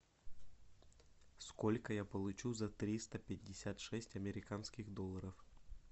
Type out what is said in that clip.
сколько я получу за триста пятьдесят шесть американских долларов